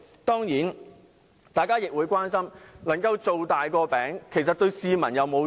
當然，大家亦會關心"造大個餅"對市民是否有益。